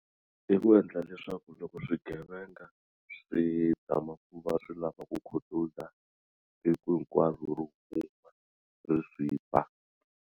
I ku endla leswaku loko swigevenga swi tala ku va swi lava ku khutuza tiku hinkwaro ri swi ba.